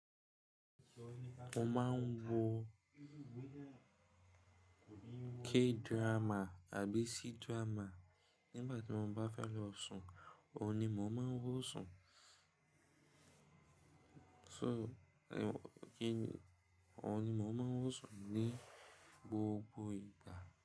Mo máa ń wo K drama àbí C drama nígbà tí mo bá fẹ́ lọ sùn, òun ni mò ń máa ń wọ sùn. So, òun ni mò ń máa ń wọ sùn ní gbogbo ìgbà.